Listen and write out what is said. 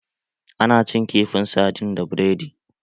Ana cin kifin sardin da biredi